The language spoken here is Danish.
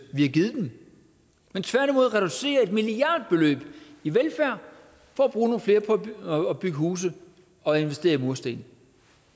vi har givet dem men tværtimod reducerer et milliardbeløb for at bygge huse og investere i mursten